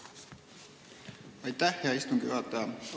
Aitäh, hea istungi juhataja!